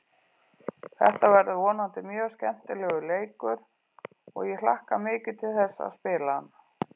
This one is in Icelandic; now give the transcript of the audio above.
Þetta verður vonandi mjög skemmtilegur leikur og ég hlakka mikið til þess að spila hann.